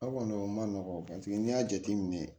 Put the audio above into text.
O kɔni o man nɔgɔn n'i y'a jateminɛ